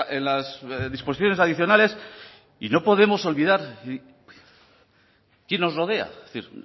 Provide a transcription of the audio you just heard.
en las disposiciones adicionales y no podemos olvidar quién nos rodea es decir